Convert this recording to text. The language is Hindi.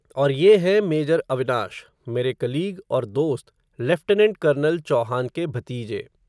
और ये हैं, मेजर अविनाश, मेरे कलीग और दोस्त, लेफ़्टनेंट कर्नल चौहान के भतीजे